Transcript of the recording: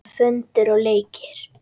Föndur og leikir.